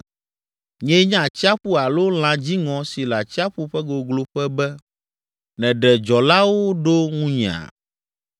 Nyee nye atsiaƒu alo lã dziŋɔ si le atsiaƒu ƒe gogloƒe be, nèɖe dzɔlawo ɖo ŋunyea?